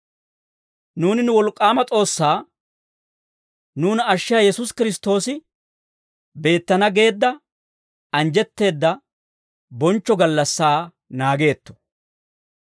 Nuuni nu wolk'k'aama S'oossay, nuuna ashshiyaa Yesuusi Kiristtoosi beettana geedda anjjetteedda bonchcho gallassaa naageetto.